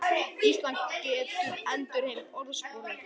Ísland getur endurheimt orðsporið